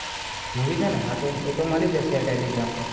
movie છે ને હા એતો મળી જસે telegram પર